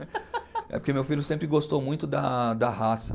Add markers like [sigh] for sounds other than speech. [laughs] É porque meu filho sempre gostou muito da da raça.